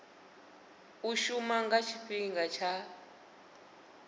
u shuma nga tshifhinga tsha